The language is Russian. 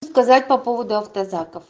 сказать по поводу автозаков